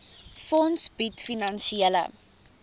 fonds bied finansiële